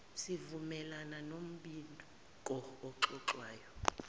zivumelane nombiko oxoxwayo